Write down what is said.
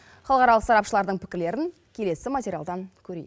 халықаралық сарапшылардың пікірлерін келесі материалдан көрейік